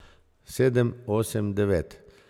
Sedem, osem, devet.